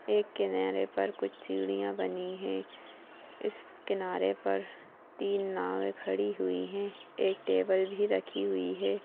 एक किनारे पर कुछ सीढ़िया बनी है इस किनारे पर तीन नावे खड़ी हुई है एक टेबुल भी रखी हुई है ।